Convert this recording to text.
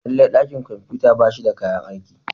Lallai dakin kwamfuta ba shi da kayan aiki.